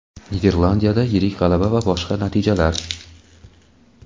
Niderlandiyada yirik g‘alaba va boshqa natijalar.